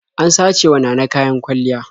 An sacewa Nana kayan kwalliya.